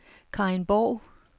Karin Borg